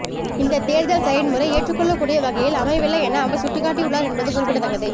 இந்த தேர்தல் செயன்முறை ஏற்றுக்கொள்ளக் கூடிய வகையில் அமையவில்லை என அவர் சுட்டிக்காட்டியுள்ளார் என்பது குறிப்பிடத்தக்கது